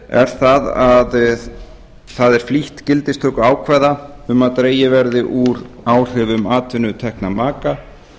er að það er flýtt gildistöku ákvæða um að dregið verði úr áhrifum atvinnutekna maka